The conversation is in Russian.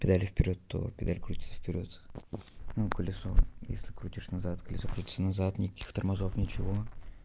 педали в вперёд то педаль крутится в перёд ну колесо если крутишь назад колесо крутится назад никаких тормозов ничего